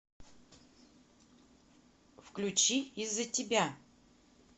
включи из за тебя